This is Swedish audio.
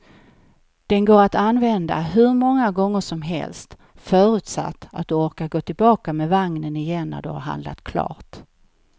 Den går att använda hur många gånger som helst, förutsatt att du orkar gå tillbaka med vagnen igen när du har handlat klart.